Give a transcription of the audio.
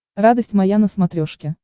радость моя на смотрешке